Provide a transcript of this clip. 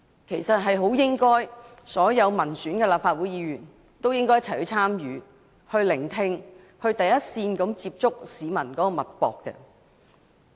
其實，所有民選立法會議員都應該一起參與、聆聽，從第一線接觸社會脈搏。